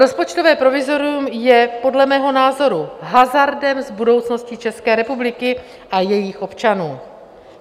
Rozpočtové provizorium je podle mého názoru hazardem s budoucností České republiky a jejich občanů.